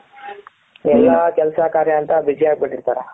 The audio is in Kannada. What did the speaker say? ಎಲ್ಲಾ ಕೆಲಸ ಕಾರ್ಯ ಅಂತ busy ಯಾಗ್ಬಿಟ್ಟಿರ್ತಾರೆ.